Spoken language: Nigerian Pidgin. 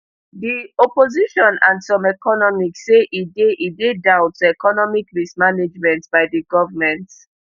di opposition and some economists say e dey e dey down to economic mismanagement by di government